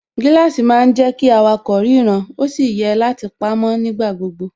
Gíláàsì má ń jẹ́ kí awakọ̀ ríran ó sì yẹ láti pamó nígbà gbogbo